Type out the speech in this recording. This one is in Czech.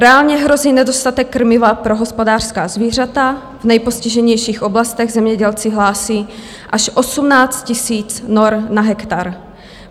Reálně hrozí nedostatek krmiva pro hospodářská zvířata, v nejpostiženějších oblastech zemědělci hlásí až 18 000 nor na hektar.